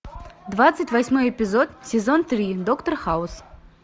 двадцать восьмой эпизод сезон три доктор хаус